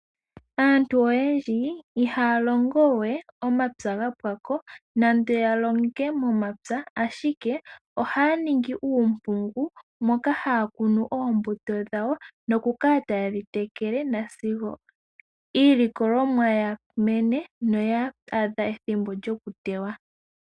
Aantu oyendji ihaya longowe opapya gapwako nande ya longe momapya, ashike ohaya ningi uumpugu moka haya kunu oombuto dhawo noku kala taye dhi tekele, nasigo iilikolomwa yamene noya adha ethimbo djoku tewa.